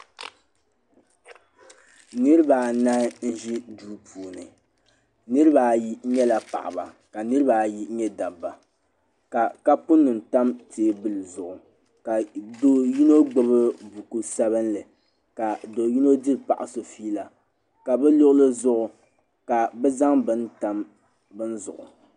Niribi anahi n ʒi duu puuni, niribi ayi nyɛla paɣaba ka niribi ayi nyɛ daba, ka kapu nima tam teebuli zuɣu , ka do' yinɔ gbubi buku sabinli ka doyinɔ diri paɣa so fiila ka bi luɣilizuɣu ka bɛ zaŋ tam bini zuɣu